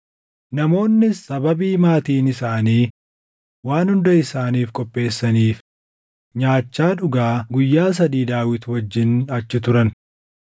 Namoonnis sababii maatiin isaanii waan hunda isaaniif qopheessaniif nyaachaa dhugaa guyyaa sadii Daawit wajjin achi turan.